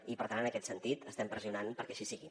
i per tant en aquest sentit estem pressionant perquè així sigui